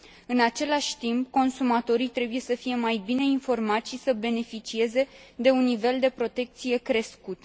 În același timp, consumatorii trebuie să fie mai bine informați și să beneficieze de un nivel de protecție crescut.